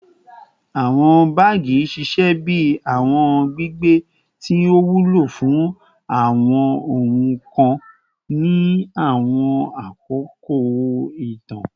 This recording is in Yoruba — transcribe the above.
Awọn baagi ṣiṣẹ bi awọn gbigbe ti o wulo fun awọn ohun kan ni awọn akoko itan